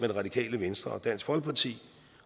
det radikale venstre og dansk folkeparti